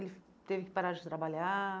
E ele teve que parar de trabalhar?